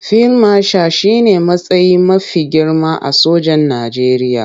Fil mashal shi ne matsayi mafi girma a sojan Najeriya.